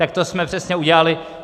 Tak to jsme přesně udělali.